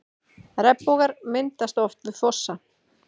Regnbogar myndast oft við fossa.